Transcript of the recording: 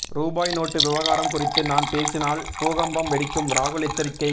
ரூபாய் நோட்டு விவகாரம் குறித்து நான் பேசினால் பூகம்பம் வெடிக்கும் ராகுல் எச்சரிக்கை